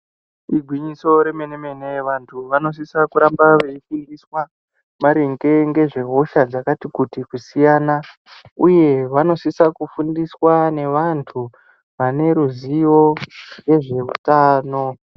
Igwinyiso remene mene vantu vanosisa kuramba veidzidziswa maringe ngezvehosha dzakati kuti kusiyana uye vanosisa kufundiswa nevantu vaneruzivo nezveutano.